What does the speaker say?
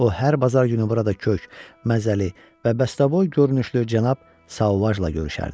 O hər bazar günü orada kök, məzəli və bəstəboy görünüşlü Cənab Sauvajla görüşərdi.